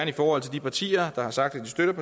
i forhold til de partier der har sagt at de støtter